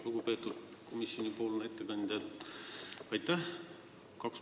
Lugupeetud komisjoni ettekandja, aitäh!